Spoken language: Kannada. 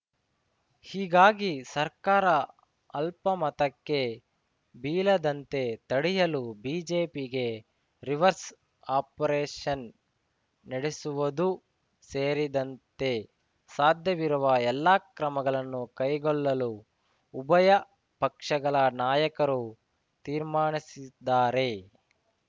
ಹೀಗಾಗಿ ಸರ್ಕಾರ ಅಲ್ಪಮತಕ್ಕೆ ಬೀಳದಂತೆ ತಡೆಯಲು ಬಿಜೆಪಿಗೆ ರಿವರ್ಸ್‌ ಆಪರೇಷನ್‌ ನಡೆಸುವುದೂ ಸೇರಿದಂತೆ ಸಾಧ್ಯವಿರುವ ಎಲ್ಲಾ ಕ್ರಮಗಳನ್ನು ಕೈಗೊಳ್ಳಲು ಉಭಯ ಪಕ್ಷಗಳ ನಾಯಕರು ತೀರ್ಮಾನಿಸಿದ್ದಾರೆ